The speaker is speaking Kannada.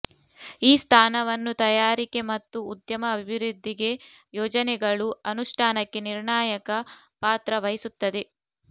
ಈ ಸ್ಥಾನವನ್ನು ತಯಾರಿಕೆ ಮತ್ತು ಉದ್ಯಮ ಅಭಿವೃದ್ಧಿಗೆ ಯೋಜನೆಗಳು ಅನುಷ್ಠಾನಕ್ಕೆ ನಿರ್ಣಾಯಕ ಪಾತ್ರ ವಹಿಸುತ್ತದೆ